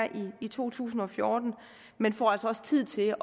i to tusind og fjorten men får altså også tid til